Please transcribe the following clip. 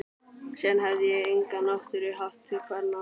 Síðan hefi ég enga náttúru haft til kvenna.